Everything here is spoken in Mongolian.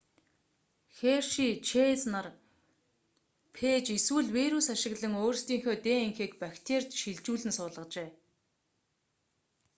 херши чэйз нар фээж эсвэл вирус ашиглан өөрсдийнхөө днх-г бактерид шилжүүлэн суулгажээ